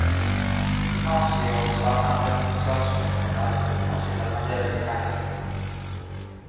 I mars i år ble sangeren dømt for slagsmål på en nattklubb, og han sitter fremdeles i fengsel.